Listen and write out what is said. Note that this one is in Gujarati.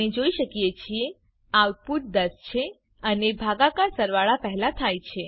આપણે જોઈ શકીએ છીએ આઉટપુટ 10 છે અને ભાગાકાર સરવાળા પહેલાં થાય છે